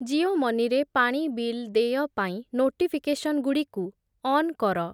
Jio money ରେ ପାଣି bill ଦେୟ ପାଇଁ ନୋଟିଫିକେସନ୍‌ଗୁଡ଼ିକୁ ଅନ୍ କର ।